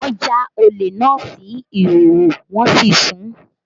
Wọn já olè náà sí ìhòòhò wọn sì sun ún